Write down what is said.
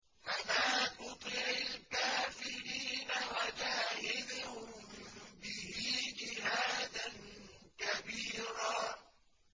فَلَا تُطِعِ الْكَافِرِينَ وَجَاهِدْهُم بِهِ جِهَادًا كَبِيرًا